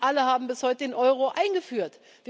Nicht alle haben bis heute den Euro eingeführt.